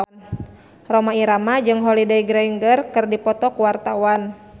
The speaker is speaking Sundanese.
Rhoma Irama jeung Holliday Grainger keur dipoto ku wartawan